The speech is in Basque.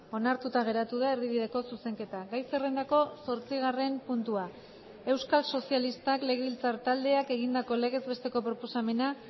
onartuta geratu da erdibideko zuzenketa gai zerrendako zortzigarren puntua euskal sozialistak legebiltzar taldeak egindako legez besteko proposamena